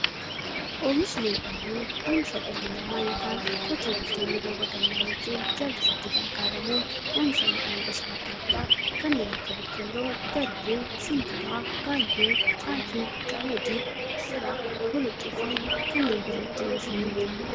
Oomishni midhaanii, oomisha dhalli namaa yookiin Qotee bultoonni roba gannaa yookiin jallisiitti gargaaramuun oomisha midhaan gosa adda addaa kanneen akka; boqqoolloo, garbuu, shumburaa, gaayyoo, xaafii, qamadii, misira, boloqqeefi kanneen biroo itti oomishamiidha.